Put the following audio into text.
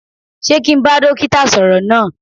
Sé kí n bá dókítà sọ̀rọ̀ náà?